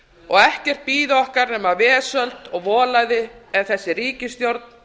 og ekkert bíði okkar nema vesöld og volæði ef þessari ríkisstjórn